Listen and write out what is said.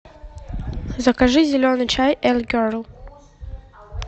закажи зеленый чай эль герл